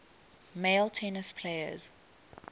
male tennis players